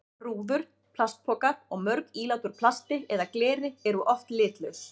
Rúður, plastpokar og mörg ílát úr plasti eða gleri eru oft litlaus.